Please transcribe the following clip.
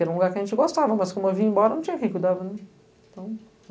Era um lugar que a gente gostava, mas, como eu vim embora, não tinha quem cuidava.